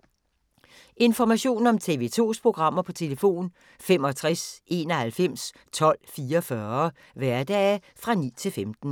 Information om TV 2's programmer: 65 91 12 44, hverdage 9-15.